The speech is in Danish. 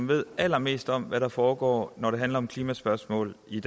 ved allermest om hvad der foregår når det handler om klimaspørgsmål i